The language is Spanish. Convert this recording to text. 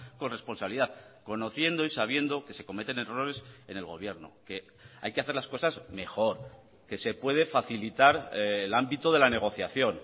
con responsabilidad conociendo y sabiendo que se cometen errores en el gobierno que hay que hacer las cosas mejor que se puede facilitar el ámbito de la negociación